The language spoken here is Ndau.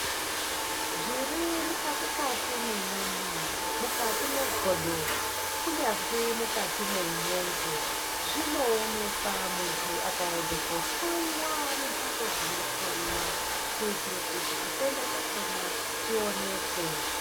Zviri mukati kati mwenyama, mukati megodo, kunyazvi mukati memwongo, zvinowonekwa muntu akayenda kohloyiwa mumbatso dzinohloyiwa, kuyitire kuti chitenda chakhona chiwonekwe.